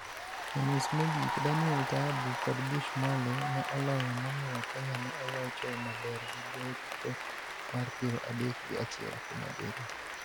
E nus mogik, Daniel Taabu kod Bush Mwale ne oloyo momiyo Kenya ne olocho maber gi gocho mar piero adek gi achiel kuuom abiriyo.